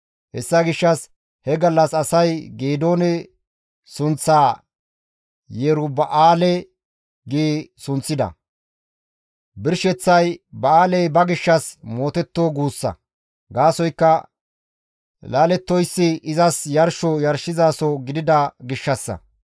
Hessa gishshas he gallas asay Geedoone sunththaa Yeruba7aale gi sunththida; birsheththay ba7aaley ba gishshas mootetto guussa; gaasoykka laalettoyssi izas yarsho yarshizaso gidida gishshassa.